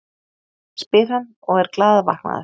spyr hann og er glaðvaknaður.